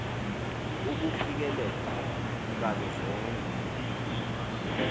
ukufikelela kazo zonke